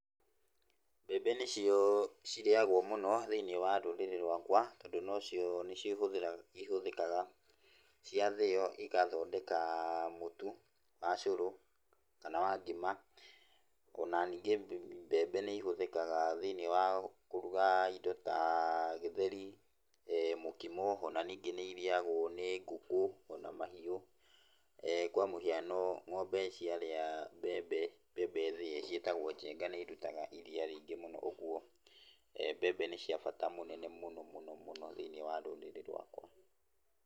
Mbembe nĩcio cirĩagũo mũno thĩiniĩ wa rũrĩrĩ rwakwa, tondũ nocio nĩcio ihũthĩkaga cia thĩo igathondeka mũtu wa cũrũ, kana wa ngima, ona ningĩ mbembe nĩihũthĩkaga thĩiniĩ wa kũruga indo ta gĩtheri, mũkimo ona ningĩ nĩirĩagũo nĩ ngũkũ, ona mahiũ, kwa mũhiano ng'ombe ciarĩa mbembe, mbembe thĩe ciĩtagũo njenga nĩirutaga iria rĩingĩ mũno. Ũguo mbembe nĩ cia bata mũnene mũno mũno mũno thĩiniĩ wa rũrĩrĩ rwakwa.